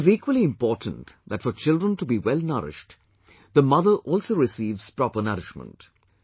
It is equally important that for children to be well nourished, the mother also receives proper nourishment